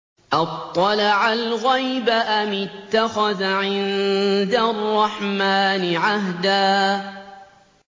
أَطَّلَعَ الْغَيْبَ أَمِ اتَّخَذَ عِندَ الرَّحْمَٰنِ عَهْدًا